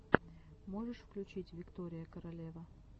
можешь включить виктория королева